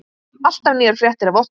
Alltaf nýjar fréttir af okkur.